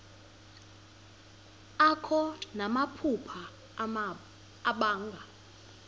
akho namaphupha abanga